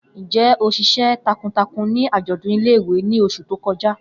Njẹ o ṣiṣẹ takuntakun ni ajọdun ile-iwe ni oṣu to kọja?